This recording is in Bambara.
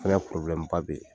O fana poroblɛmu ba de ye.